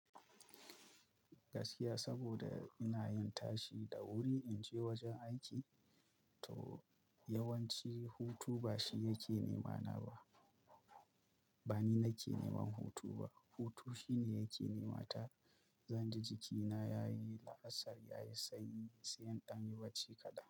Gaskiya saboda ina yin tashi da wuri inje wajen aiki to yawanci hutu bashi yake nema na ba. Bani nake neman hutu ba, hutu shine yake nema ta. Zanji jikina yayi la'asar, yayi sanyi sai in danyi bacci kaɗan.